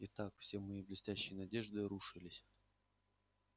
итак все мои блестящие надежды рушились